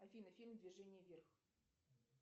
афина фильм движение вверх